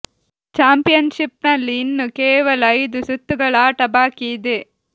ಚಾಂಪಿ ಯನ್ಷಿಪ್ನಲ್ಲಿ ಇನ್ನು ಕೇವಲ ಐದು ಸುತ್ತುಗಳ ಆಟ ಬಾಕಿ ಇದೆ